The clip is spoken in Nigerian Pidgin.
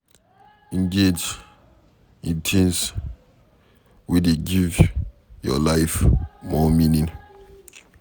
Engage in things wey dey give your life more meaning